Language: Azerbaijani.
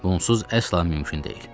Bu onsuz əsla mümkün deyil.